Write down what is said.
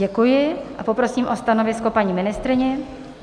Děkuji a poprosím o stanovisko paní ministryni.